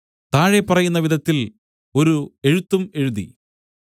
താഴെ പറയുന്ന വിധത്തിൽ ഒരു എഴുത്തും എഴുതി